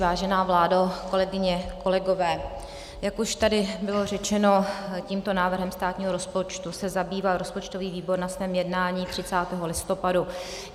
Vážená vládo, kolegyně, kolegové, jak už tady bylo řečeno, tímto návrhem státního rozpočtu se zabýval rozpočtový výbor na svém jednání 30. listopadu.